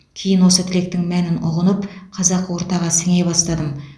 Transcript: кейін осы тілектің мәнін ұғынып қазақы ортаға сіңе бастадым